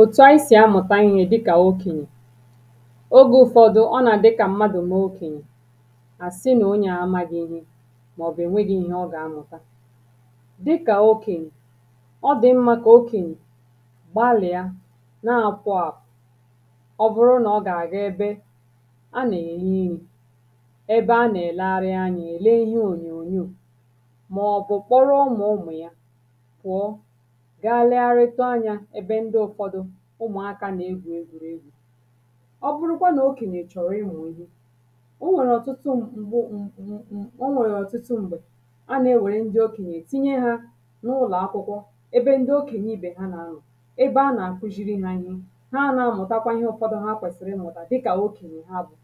òtù anyị sì amụ̀ta ihē dịkà okènyè oge ụfọdụ ọ nà-àdị kà mmadù maa okènyè àsị nà onyàà amagị ihe màọbụ ènwegi ihe ọ gà-amụ̀ta dịkà okènyè ọ dị̀ mmā kà okènyè gbalịa na-apụ àpụ̀ ọ bụrụ nà ọ gà-àga ebe a nà-eme ihe ebe a nà-èlegharị anya èle ihe ònyònyoò màọ̀bụ̀ kpọrọ ụmụ̀ụmụ ya pụ̀ọ gaa legharịtụ anyā nà-ebe ndị ụfọdụ ụmụ̀akā nà-egwù egwū ọ bụrụkwa nà okènyè chọ̀rọ̀ ịmụ̀ ihe o nwèrè ọ̀tụtụ m̀ m̀gbo m m m o nwèrè ọ̀tụtụ m̀gbè anà-ewère ndị okènyè tinye ha n’ụlọ̀akwụkwọ ebe ndị okènyè ibè ha nà-anọ̀ ebe a na-àkuʒiri ha ihe ha na-amụ̀takwa ihe ụ̀fọdụ ha kwèsìrì ịmụ̀tà dịkà okèɲè ha bụ̀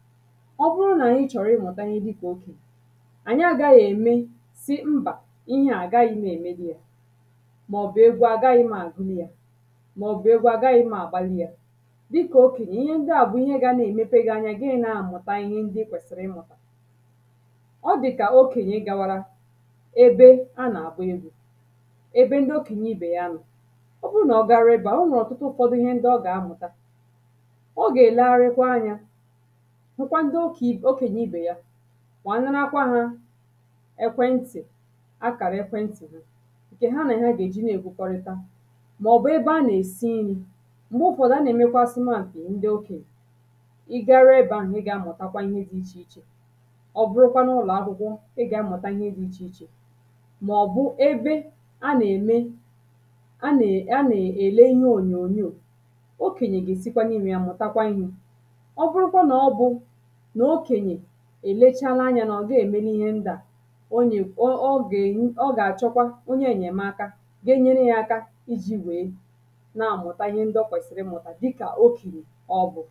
ọ bụrụ nà ị chọ̀rọ̀ ịmụ̀tà ihe dịkà okènyè ànyị agaghị ème sị mbà ihe à àgaghi m èmeli ya màọ̀bụ̀ egwu àgaghị m àgunwu ya màọ̀bụ̀ egwu àgaghị m àgbali ya dịkà okènyè ihe ndị à bụ ihe ndị gana emèpe gi anya gị na-amụ̀ta ihe ndị itòsìrì ị na-amụ̀ta ọ dị̀kà okènyè gawara ebe a nà-àgba egwū ebe ndị okènyè ibè ya nọ̀ ọ bụrụ nà ọ garuo ebē ahụ̀ o nwèrè ọ̀tụtụ ụfọdụ ihe ndị ọ ga-amụta ọ gà-èlegharịkwa anyā hụkwa ndị okè i okènyè ibè ya wèe narakwa ha ekwentì akàrà ekwentì ha ǹké ha nà he gà-èji na-èkwukọrịta màọ̀bụ̀ ebe a nà-èsi nrī m̀gbe ụfọdụ a nà-èmekwa asụmapị̀ ndị okènyè I garuo ebē ahụ̀ ị gà-amụtakwa ihe dị ichè ichè ọ bụrụkwa n’ụlọ̀akwụkwọ ị gà-amụ̀ta ihe dị ichè ichè maọbụ ebe a nà-ène a nà a nà-èle ihe ònyònyoò okènyè gà-èsikwa n’imē ya mụ̀takwa ihē ọ bụrụkwa nà ọ bụ nà okènyè èlechala anyā nà ọ gaa èmeli ihe ndị à o nye o ọ gà-ènye ọ gà-àchọkwa onye ènyèmaka ga-enyere ya aka iji wèe na-amụta ihe ndị ọ kwèsìrì ịmụ̀tà dịkà okènyè ọ bụ